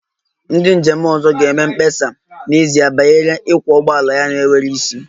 Ndị njem ọzọ ga-eme mkpesa n'ezie banyere ịkwọ ụgbọala ya na-enweghị isi